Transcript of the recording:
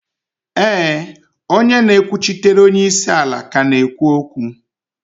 éè, onye na-ekwuchitere onye isi ala ka na-ekwu okwu